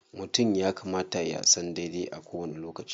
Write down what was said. Mutum ya kamata ya san daidai a kowani lokaci.